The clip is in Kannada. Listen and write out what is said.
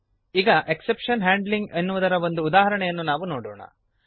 ಈಗ ಎಕ್ಸೆಪ್ಶನ್ ಹ್ಯಾಂಡ್ಲಿಂಗ್ ಎನ್ನುವುದರ ಒಂದು ಉದಾಹರಣೆಯನ್ನು ನಾವು ನೋಡೋಣ